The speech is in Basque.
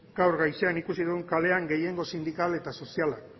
gaur goizean ikusi dugu kalean gehiengo sindikal eta soziala